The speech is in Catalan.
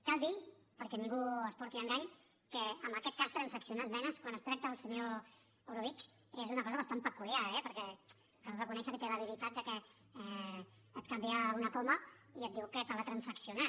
cal dir perquè ningú s’emporti un engany que en aquest cas transaccionar esmenes quan es tracta del senyor orobitg és una cosa bastant peculiar eh perquè cal reconèixer que té l’habilitat de que et canvia una coma i et diu que te l’ha transaccionat